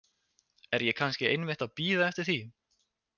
Er ég kannski einmitt að bíða eftir því?